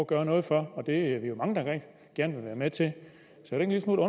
gøre noget for det er vi mange der gerne vil være med til så